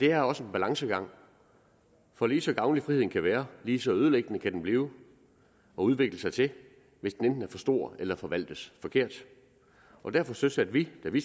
er også en balancegang for lige så gavnlig friheden kan være lige så ødelæggende kan den blive og udvikle sig til hvis den enten er for stor eller forvaltes forkert derfor søsatte vi da vi